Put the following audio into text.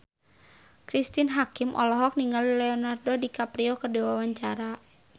Cristine Hakim olohok ningali Leonardo DiCaprio keur diwawancara